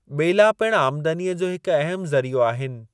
ॿेला पिणु आमदनीअ जो हिकु अहमु ज़रीओ आहिनि।